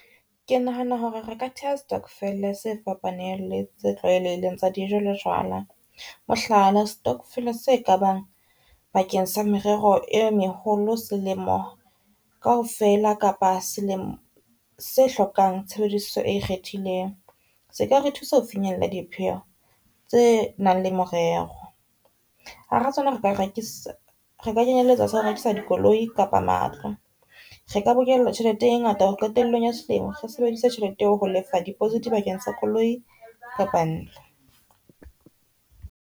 Ke nahana hore re ka theha stokvel-e se fapaneng le tse tlwaelehileng tsa dijo le jwala mohlala, stokvel-e se ka bang bakeng sa merero e meholo selemo kaofela kapa selemo se hlokang tshebediso e ikgethileng. Se ka re thusa ho finyella dipheho tse nang le morero. Ha ra re ka kenyelletsa sa rekisa di koloi kapa matlo, re ka bokella tjhelete e ngata hore qetellong ya selemo re sebedise tjhelete eo ho lefa deposit bakeng sa koloi kapa ntlo.